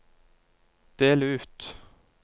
del ut